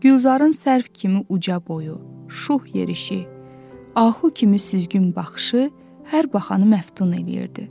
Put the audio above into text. Gülzarın sərv kimi uca boyu, şuh yerişi, Ahu kimi süzgün baxışı hər baxanı məftun eləyirdi.